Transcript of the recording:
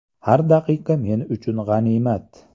Har daqiqa men uchun g‘animat.